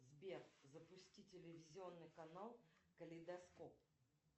сбер запусти телевизионный канал калейдоскоп